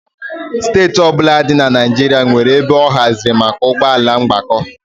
Steeti ọ bụla dị na Naịjirịa nwere ebe a haziri maka ụgbọ ala ịgbakọ.